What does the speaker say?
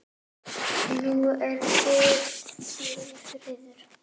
Nú er kyrrð og friður.